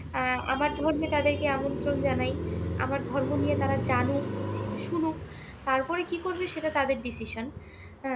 আহ আমার ধর্মে তাদেরকে আমন্ত্রণ জানাই। আমার ধর্ম নিয়ে তারা জানুক, শুনুক। তারপরে কি করবে সেটা তাদের decision হ্যাঁ?